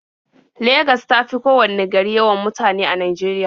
Legas ta fi kowanne gari yawan mutane a Najeriya.